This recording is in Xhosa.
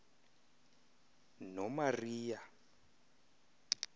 nomariya